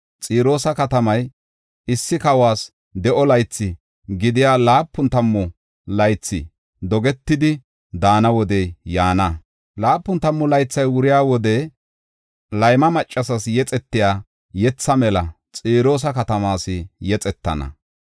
Xiroosa katamay issi kawos de7o laythi gidiya laapun tammu laythi dogetidi daana wodey yaana. Laapun tammu laythi wuriya wode layma maccasas yexetiya yetha mela Xiroosa katamaas yexetana.